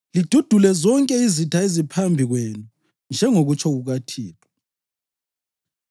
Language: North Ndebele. lidudule zonke izitha eziphambi kwenu, njengokutsho kukaThixo.